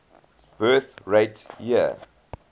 birth rate year